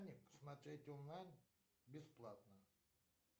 смотреть онлайн бесплатно